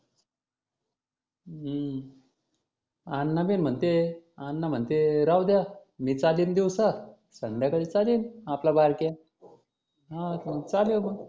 हम्म अण्णा बी म्हणते अण्णा म्हणते राहुद्या. मी चालीन दिवसा संध्याकाळी चालीन आपला बारक्या. हा मग चालव मग.